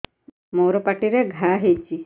ମୋର ପାଟିରେ ଘା ହେଇଚି